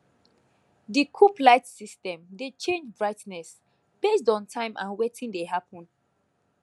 di coop light system dey change brightness based on time and wetin dey happen